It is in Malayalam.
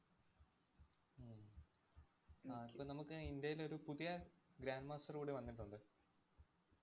ആഹ് ഇപ്പ നമുക്ക് ഇന്ത്യയിലൊരു പുതിയ grand master കൂടി വന്നിട്ടുണ്ട്.